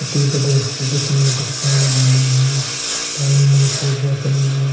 कथी बढ़िया सी बिट्मानी तख पाणी मिनी पाणी मा पूजा कनी।